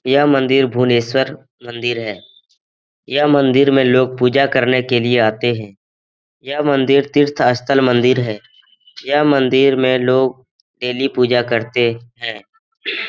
यह मंदिर भुवनेश्वर मंदिर है यह मंदिर में लोग पूजा करने के लिए आते है यह मंदिर तीर्थ स्थल मंदिर है यह मंदिर में लोग डेली पूजा करता है।